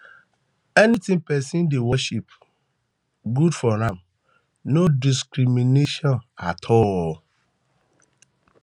anything pesin dey worship good for am no discrimination at all